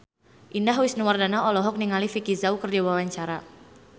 Indah Wisnuwardana olohok ningali Vicki Zao keur diwawancara